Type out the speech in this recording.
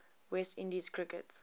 west indies cricket